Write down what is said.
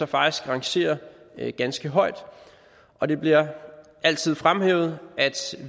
faktisk rangerer ganske højt og det bliver altid fremhævet at